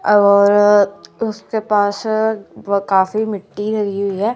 और उसके पास अह काफी काफी मिट्टी लगी हुई है।